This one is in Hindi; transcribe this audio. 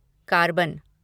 कार्बन